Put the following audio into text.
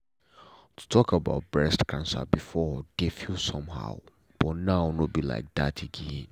to talk about breast cancer before dey feel somehow but now no be like that again.